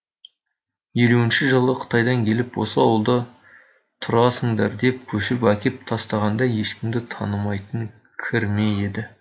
елуінші жылы қытайдан келіп осы ауылда тұрасыңдар деп көшіріп әкеп тастағанда ешкімді танымайтын кірме еді